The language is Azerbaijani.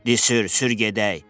Disir, sür, gedək.